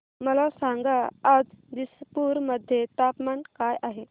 मला सांगा आज दिसपूर मध्ये तापमान काय आहे